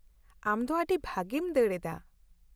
-ᱟᱢ ᱫᱚ ᱟᱹᱰᱤ ᱵᱷᱟᱹᱜᱤᱢ ᱫᱟᱹᱲ ᱮᱫᱟ ᱾